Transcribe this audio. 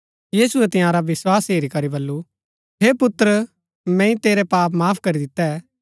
यीशुऐ तंयारा विस्वास हेरी करी बल्लू हे पुत्र मैंई तेरै पाप माफ करी दितै